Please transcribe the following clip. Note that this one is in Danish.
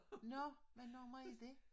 Nå hvad nummer er det?